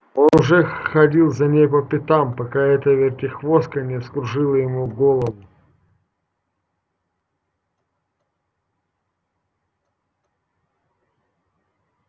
он же ходил за ней по пятам пока эта вертихвостка не вскружила ему голову